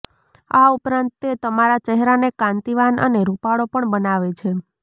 આ ઉપરાંત તે તમારા ચહેરાને કાંતિવાન અને રુપાળો પણ બનાવે છે